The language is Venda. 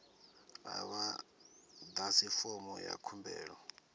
a vha ḓadzi fomo ya khumbelo